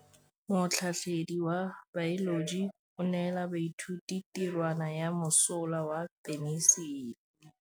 Motlhatlhaledi wa baeloji o neela baithuti tirwana ya mosola wa peniselene.